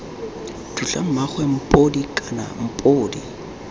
tlotla mmaagwe mphodi kana mphodi